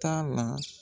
T'a la